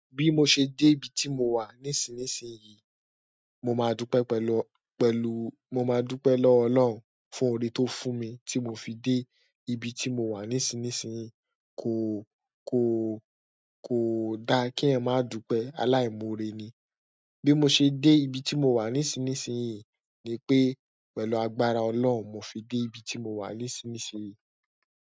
Bí mo ṣe dé ibi tí mo wà nísinsìnyí, mo máa dúpẹ́ pẹ̀lú, pẹ̀lú, mo máa dúpẹ́ lọ́wọ́ Ọlọ́run fún oore tó fún mi tí mo fi dé ibi tí mo wà nísinsìnyí. Kò, kò, kò da kí èèyàn má dúpẹ́, aláìmọ́ore ni. Bí mo ṣe dé ibi tí mo wà nísinsìnyí ni pé pẹ̀lú agbára Ọlọ́run mo fi dé ibi tí mo wà nísinsìnyí.